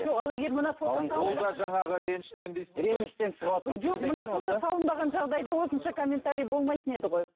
жоқ ал егер мына фото жоқ мына фото салынбаған жағдайда осынша комментарий болмайтын еді ғой